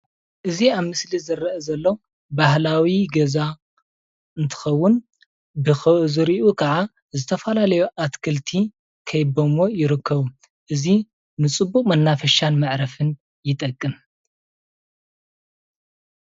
እዚ ኣብ ምስሊ ዝረአ ዘሎ ባህላዊ ገዛ እንትከውን ብዝሪኡ ክዓ ዝተፈላለዩ ኣትክልቲ ከቢበምዎ ይርከቡ፣ እዚ ንፅቡቅ መናፈሻን መዕረፍን ይጠቅም፡፡